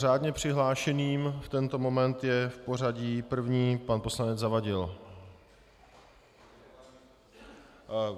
Řádně přihlášeným v tento moment je v pořadí první pan poslanec Zavadil.